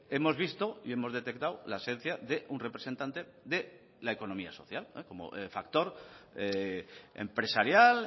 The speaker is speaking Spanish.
hemos visto y hemos detectado la esencia de un representante de la economía social como factor empresarial